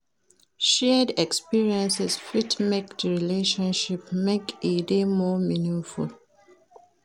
Shared experiences fit make di relationship make e dey more meaningful.